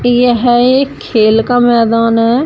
यह एक खेल का मैदान है।